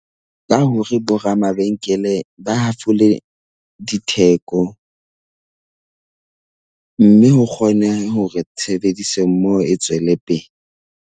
Ka hore boramabenkele ba hafole ditheko mme ho kgone hore tshebedisommoho e tswellepele.